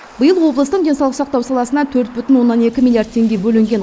биыл облыстың денсаулық сақтау саласына төрт бүтін оннан екі миллиард теңге бөлінген